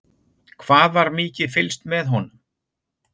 Hvað var mikið fylgst með honum?